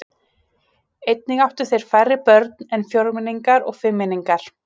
Einnig áttu þeir færri börn en fjórmenningar og fimmmenningar.